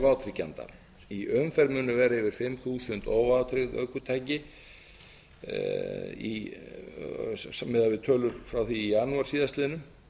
vátryggjenda í umferð munu vera yfir fimm þúsund óvátryggð ökutæki miðað við tölur frá því í janúar síðastliðinn